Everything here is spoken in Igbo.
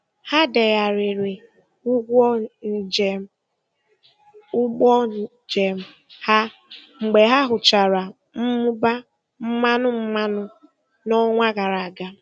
Ha degharịrị ụgwọ njem ụgbọ njem ha mgbe ha hụchara mmụba mmanụ mmanụ n'ọnwa gara aga.